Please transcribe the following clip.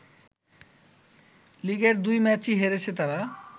লিগের দুই ম্যাচেই হেরেছে তারা